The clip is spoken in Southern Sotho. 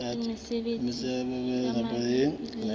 le mesebetsi e mabapi le